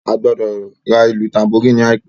Ó gbọ́dọ̀ ra ìlù tanboríìnì ní àìpé.